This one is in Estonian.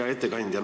Hea ettekandja!